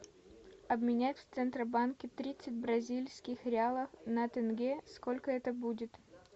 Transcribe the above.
обменять в центробанке тридцать бразильских реалов на тенге сколько это будет